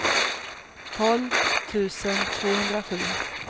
tolv tusen tvåhundrasju